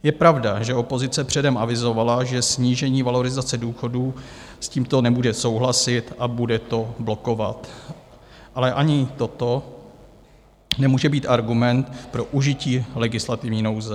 Je pravda, že opozice předem avizovala, že snížení valorizace důchodů, s tímto nebude souhlasit a bude to blokovat, ale ani toto nemůže být argument pro užití legislativní nouze.